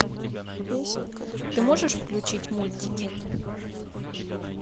ты можешь включить мультики